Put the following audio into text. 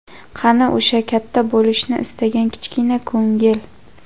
Qani o‘sha katta bo‘lishni istagan kichkina ko‘ngil?.